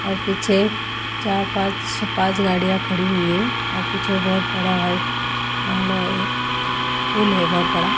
और पीछे चार पांच छ पांच गाड़ियां खड़ी हुई है और पीछे बहुत बड़ा व्हाइट बंगलो है पूल है बहुत बड़ा।